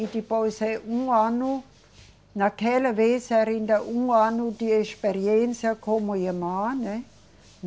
E depois é um ano, naquela vez era ainda um ano de experiência como irmã, né?